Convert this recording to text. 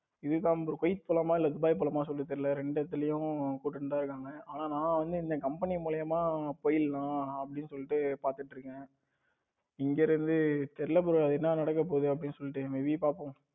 இதான் bro Kuwait போலாமா இல்லை துபாய் போலாமான்னு சொல்ல தெரியல ரெண்டு இடத்துலயும் கூப்பிடிட்டு தான் இருக்காங்க ஆனா இங்க கம்பெனி மூளியம போயிறலானு அப்டின்னு சொல்லிட்டு பாத்துட்டு இருக்கேன். இங்க இருந்து தெரியல bro என்ன நடக்க பொதுனு சொல்லிடு may be பாப்போம்.